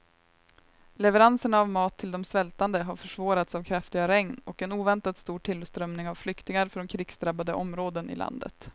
Leveranserna av mat till de svältande har försvårats av kraftiga regn och en oväntat stor tillströmning av flyktingar från krigsdrabbade områden i landet.